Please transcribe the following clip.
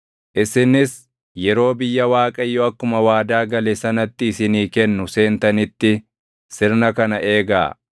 Isinis yeroo biyya Waaqayyo akkuma waadaa gale sanatti isinii kennu seentanitti sirna kana eegaa.